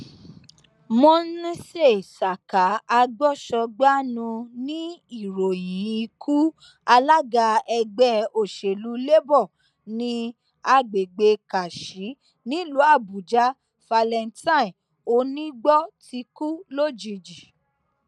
monèse saka agbósọgbànu ni ìròyìn ikú alága ẹgbẹ òsèlú labour ní agbègbè karshi nílùú àbújá valentine oníìgbọ tó kú lójijì